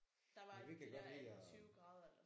Der var de der 18 20 grader eller sådan noget